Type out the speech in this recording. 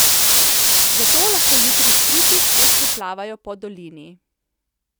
Zato lahko jutri strupi spet priplavajo po dolini.